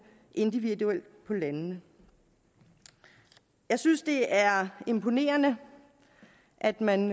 individuelt på landene jeg synes det er imponerende at man